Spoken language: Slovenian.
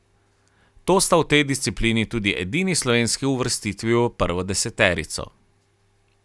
To sta v tej disciplini tudi edini slovenski uvrstitvi v prvo deseterico.